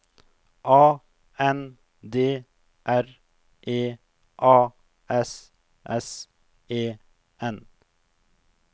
A N D R E A S S E N